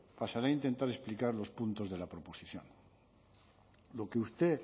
pasaré a intentar explicar los puntos de la proposición lo que usted